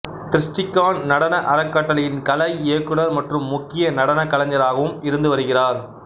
திருஸ்டிகான் நடன அறக்கட்டளையின் கலை இயக்குனர் மற்றும் முக்கிய நடன கலைஞராகவும் இருந்து வருகிறார்